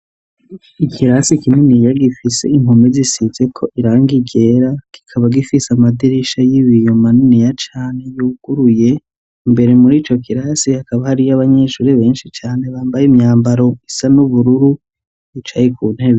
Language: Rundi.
Ikirasi kinini ya gifise impome zisizeko irangi ryera kikaba gifise amadirisha y'ibiyo maniniya cane yuguruye imbere muri ico kirasi hakaba hariyo abanyeshure benshi cane bambaye imyambaro isa n'ubururu bicaye ku ntebe.